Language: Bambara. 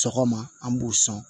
Sɔgɔma an b'u sɔn